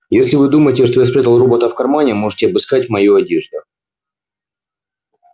если вы думаете что я спрятал робота в кармане можете обыскать мою одежду